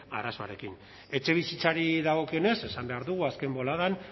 arazoarekin etxebizitzari dagokionez esan behar dugu azken boladan